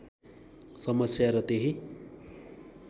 समस्या र त्यही